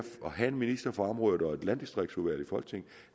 have en minister for området og et landdistriktsudvalg i folketinget